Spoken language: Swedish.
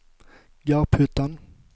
Garphyttan